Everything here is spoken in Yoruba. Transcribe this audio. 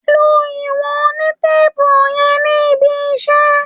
Lo ìwọ̀n onítéèpù yẹn ní ibiṣé.